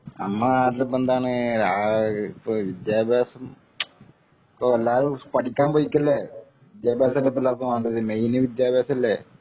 നമ്മൾ നാട്ടിൽ എന്താണ് ഇപ്പൊ വിദ്യാഭ്യാസം ഇപ്പൊ എല്ലാരും പഠിക്കാൻ പോയിക്കെല്ലേ വിദ്യാഭ്യാസമല്ലേ ഇപ്പൊ എല്ലാര്‍ക്കും വേണ്ടത് മെയിൻ വിദ്യാഭ്യാസമല്ലേ